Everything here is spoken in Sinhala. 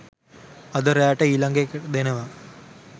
අද රෑට ඊළඟ ඒක දෙනවා